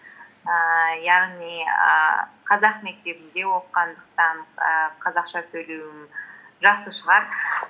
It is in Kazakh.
ііі яғни ііі қазақ мектебінде оқығандықтан ііі қазақша сөйлеуім жақсы шығар